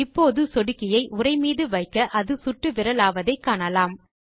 இப்போது சொடுக்கியை உரை மீது வைக்க அது சுட்டுவிரலாவதை காணலாம்